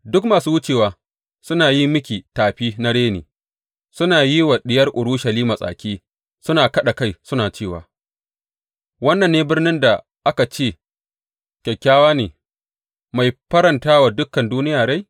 Duk masu wucewa suna yi miki tafi na reni; suna yi wa Diyar Urushalima tsaki suna kaɗa kai suna cewa, Wannan ne birnin da aka ce kyakkyawa ne, mai farantawa dukan duniya rai?